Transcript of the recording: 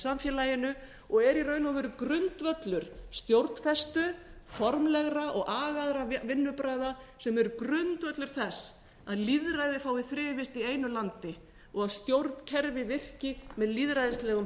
samfélaginu og er í raun og veru grundvöllur stjórnfestu formlegra og agaðra vinnubragða sem eru grundvöllur þess að lýðræðið fái þrifist í einu landi og stjórnkerfið virki með lýðræðislegum